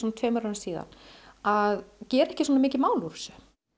tveimur árum síðan að gera ekki svona mikið mál úr þessu